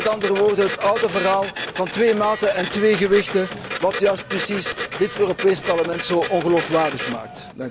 Het is met andere woorden het oude verhaal van twee maten en twee gewichten, wat juist dit Europees Parlement zo ongeloofwaardig maakt.